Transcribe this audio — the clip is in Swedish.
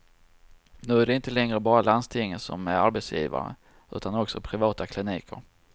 Nu är det inte längre bara landstingen som är arbetsgivare utan också privata kliniker.